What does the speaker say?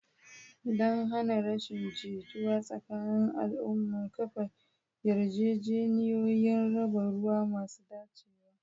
Don hana rashin jituwa tsakanin al'umma, kafa yarjejeniyoyin raba ruwa masu dacewa.